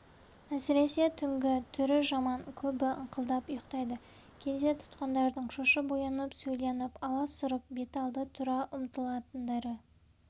әсіресе түнгі түрі жаман көбі ыңқылдап ұйықтайды кейде тұтқындардың шошып оянып сөйленіп аласұрып беталды тұра ұмтылатындары